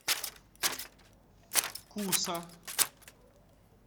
куса